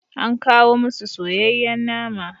An kawo musu soyayyen nama.